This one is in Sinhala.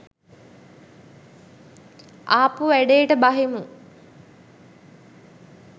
ආපු වැඩේට බහිමු.